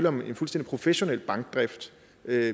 om en fuldstændig professionel bankdrift